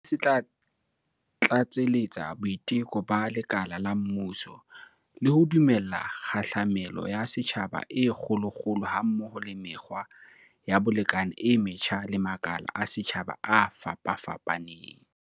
Sena se tla tlatseletsa boiteko ba lekala la mmuso, le ho dumella kgahlamelo ya setjhaba e kgolokgolo ha mmoho le mekgwa ya bolekane e metjha le makala a setjhaba a fapafapaneng.